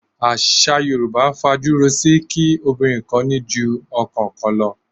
Àṣà Yorùbá fajúro si kí obìnrin kó ní ju ọkọ kan lọ.